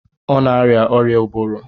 Ọ na-arịa ọrịa ụbụrụ